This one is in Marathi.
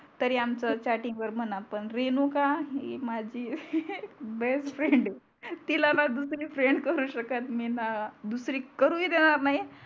तरी आमच चेटिंगवर म्हणा पण रेणुका ही माझी बेस्ट फ्रेंडआहे तिला णा दुसरी फ्रेंड करू शकत मी णा दुसरी करू ही देणार नाही